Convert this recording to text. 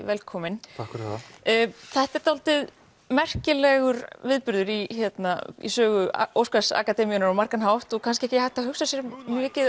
velkominn takk fyrir það þetta er dálítið merkilegur viðburður í í sögu Óskars akademíunnar á margan hátt og kannski ekki hægt að hugsa sér mikið